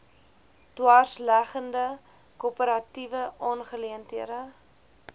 dwarsleggende korporatiewe aangeleenthede